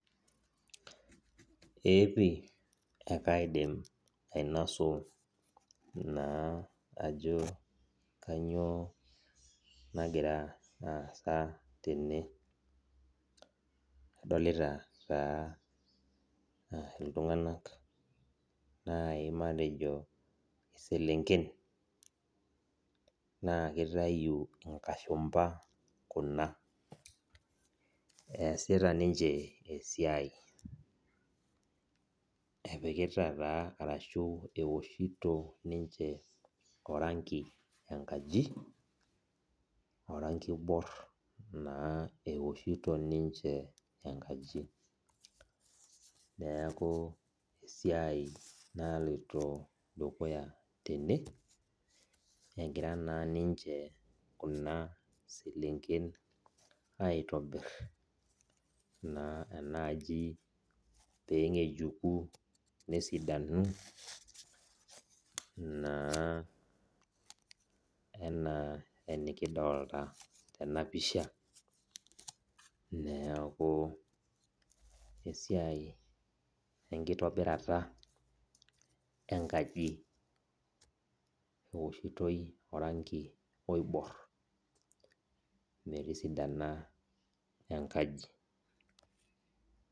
Eepii akaidim ainasu na ajo kanyio nagira aasa tene adolita taa ltunganak nai matejo iselenken na kitau nkashumba kuna easita ninche esiai ewoshito ninche orangi enkaji orangi oibor na ewoshito ninche enkaji neaku esiai naloito dukuya tene egira na ninche kuna selenken aitobir enaaji pesidanu na pisha neaku esiai enkitobirata enkaji eoshitoi orangi oibor metisidana enkaji.